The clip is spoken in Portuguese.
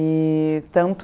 E tanto...